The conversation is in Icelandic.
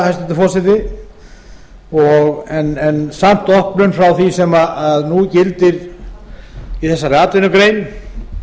hæstvirtur forseti en samt opnun frá því sem nú gildir í þessari atvinnugrein